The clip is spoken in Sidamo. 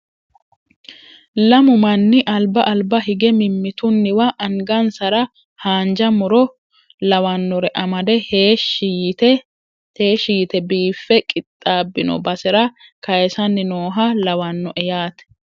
Lamu manni alba alba higge mimmitunniwa angansara haanja muro lawanorre amadde heeshshi yite biiffe qixxaabbino basera kayiissayi nooha lawannoe yaate.